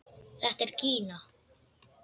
Þetta er Gína!